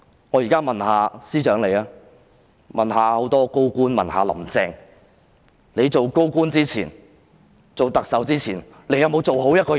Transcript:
我現在問司長、眾多高官和"林鄭"，你們在當高官及特首前，有否做好一個人？